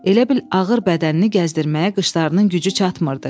Elə bil ağır bədənini gəzdirməyə qıçlarının gücü çatmırdı.